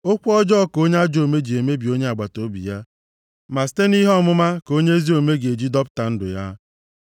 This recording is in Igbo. Okwu ọjọọ ka onye ajọ omume ji emebi onye agbataobi ya. Ma site nʼihe ọmụma ka onye ezi omume ga-eji dọpụta ndụ ya.